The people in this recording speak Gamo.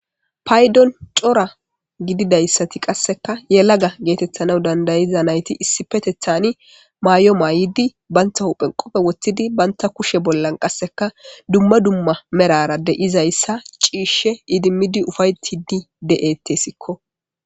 Payidon co ra gididayisati yelaga getetanaw dandayiza nayiti issippetetani mayo mayidi banta huphe qophe wotidi banta kushen qasika duma duma merara de, izayisa ci,ishe idimidi ufayixidi de,tesko